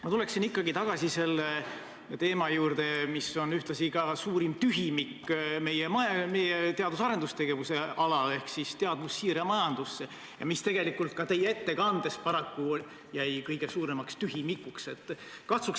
Ma tuleksin ikkagi tagasi selle teema juurde, mis on ühtlasi suurim tühimik meie teadus- ja arendustegevuse alal ja mis tegelikult ka teie ettekandes jäi paraku kõige suuremaks tühimikuks, nimelt teadmussiire majandusse.